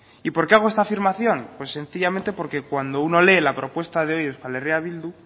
y por qué hago esta afirmación pues sencillamente porque cuando uno lee la propuesta de hoy de euskal herria bildu